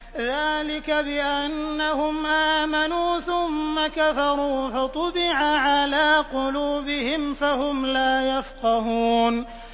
ذَٰلِكَ بِأَنَّهُمْ آمَنُوا ثُمَّ كَفَرُوا فَطُبِعَ عَلَىٰ قُلُوبِهِمْ فَهُمْ لَا يَفْقَهُونَ